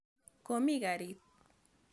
Komi karit.